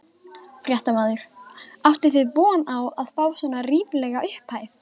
Fréttamaður: Áttuð þið von á að fá svona ríflega upphæð?